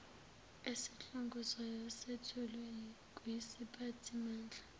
esihlongozwayo sethulwe kwisiphathimandla